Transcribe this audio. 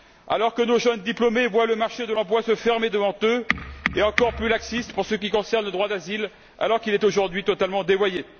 Or nos diplômés voient le marché de l'emploi se fermer devant eux et on est encore plus laxiste pour ce qui concerne le droit d'asile, alors qu'il est aujourd'hui totalement dévoyé.